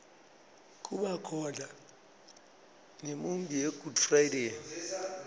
kubakhona nemiunbi yegood friday